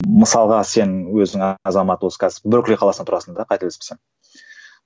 мысалға сен өзің азамат осы қазір беркли қаласында тұрасың да қателеспесем